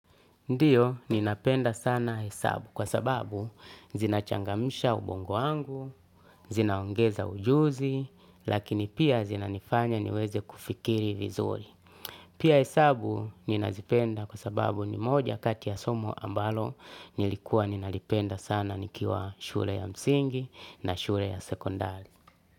Ndiyo, ninapenda sana hesabu kwa sababu zinachangamisha ubongo wangu, zinaongeza ujuzi, lakini pia zinanifanya niweze kufikiri vizuri. Pia hesabu ninazipenda kwa sababu ni moja kati ya somo ambalo nilikuwa ninalipenda sana nikiwa shule ya msingi na shule ya sekondari.